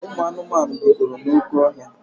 Ụmụ anụmanụ bikọrọ n'oké ọhịa.